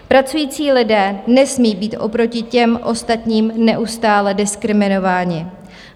Pracující lidé nesmí být oproti těm ostatním neustále diskriminováni.